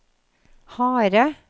harde